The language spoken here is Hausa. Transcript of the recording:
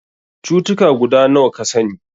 Cutuka guda nawa ka sani?